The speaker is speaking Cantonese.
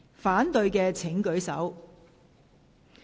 反對的請舉手。